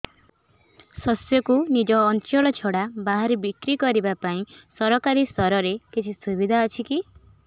ଶସ୍ୟକୁ ନିଜ ଅଞ୍ଚଳ ଛଡା ବାହାରେ ବିକ୍ରି କରିବା ପାଇଁ ସରକାରୀ ସ୍ତରରେ କିଛି ସୁବିଧା ଅଛି କି